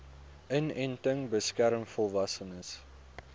inenting beskerm volwassenes